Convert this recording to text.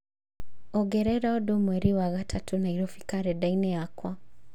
ongerera ũndũ mweri wa gatatũ Nairobi karenda-inĩ yakwa